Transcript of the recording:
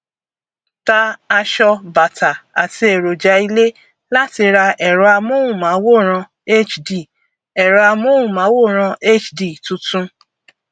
tà aṣọ bàtà àti èròja ilé láti ra ẹrọamóhùnmáwòrán hd ẹrọamóhùnmáwòrán hd tuntun